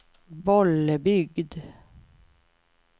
Bollebygd